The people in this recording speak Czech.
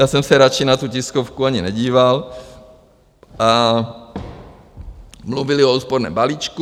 Já jsem se radši na tu tiskovku ani nedíval, a mluvili o úsporném balíčku.